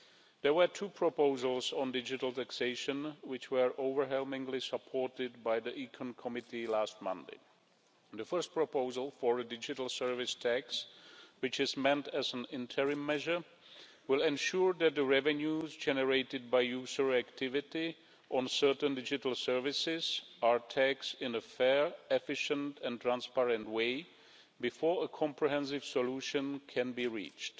There were two proposals on digital taxation, which were overwhelmingly supported by the Committee on Economic and Monetary Affairs last Monday. The first proposal for a digital service tax, which is meant as an interim measure, will ensure that the revenues generated by user activity on certain digital services are taxed in a fair, efficient and transparent way before a comprehensive solution can be reached.